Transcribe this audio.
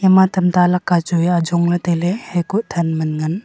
ama tamta lakka chu wai ajong taile hakuh than man ngan.